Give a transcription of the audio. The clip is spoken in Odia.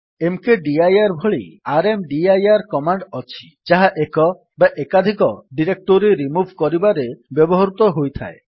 ମକଦିର ଭଳି ର୍ମଦିର କମାଣ୍ଡ୍ ଅଛି ଯାହା ଏକ ବା ଏକାଧିକ ଡିରେକ୍ଟୋରୀ ରିମୁଭ୍ କରିବାରେ ବ୍ୟବହୃତ ହୋଇଥାଏ